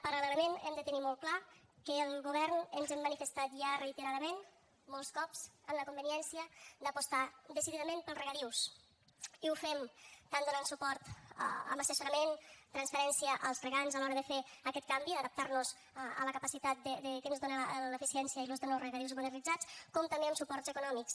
paral·lelament hem de tenir molt clar que el govern ens hem manifestat ja reiteradament molts cops en la conveniència d’apostar decididament pels regadius i ho fem tant donant suport amb assessorament transferència als regants a l’hora de fer aquest canvi d’adaptar nos a la capacitat que ens dóna l’eficiència i l’ús de nous regadius modernitzats com també amb suports econòmics